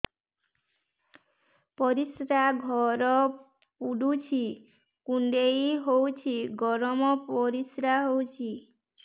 ପରିସ୍ରା ଘର ପୁଡୁଚି କୁଣ୍ଡେଇ ହଉଚି ଗରମ ପରିସ୍ରା ହଉଚି